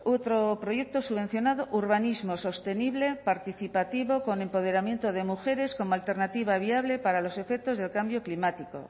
otro proyecto subvencionado urbanismo sostenible participativo con empoderamiento de mujeres como alternativa viable para los efectos del cambio climático